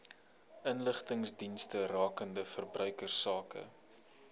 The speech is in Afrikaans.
inligtingsdienste rakende verbruikersake